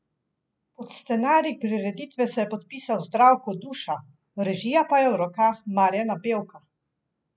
Pod scenarij prireditve se je podpisal Zdravko Duša, režija pa je v rokah Marjana Bevka.